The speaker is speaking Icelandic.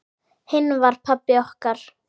Hinn var pabbi okkar.